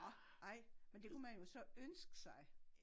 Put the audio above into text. Orh ej men det kunne man jo så ønske sig